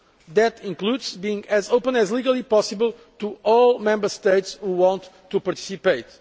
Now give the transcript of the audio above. This includes being as open as is legally possible to all Member States who want to participate.